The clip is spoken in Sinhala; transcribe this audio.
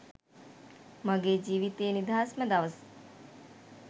මගෙ ජීවිතේ නිදහස්ම දවස්.